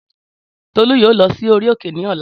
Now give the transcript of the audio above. Tọlú yóò lọ sí orí òkè ní ọlá